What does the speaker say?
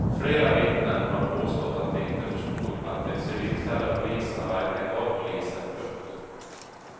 Flera vittnen har påstått att de inte förstod att de civilklädda poliserna verkligen var poliser. punkt